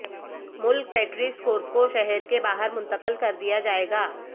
ملک پیٹ race course کو شہر کے باہر منتقل کر دیا جائے گا